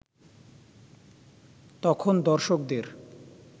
তখন দর্শকদের